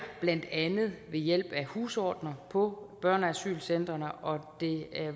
blandt andet ved hjælp af husordener på børneasylcentrene og det